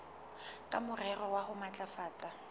ka morero wa ho matlafatsa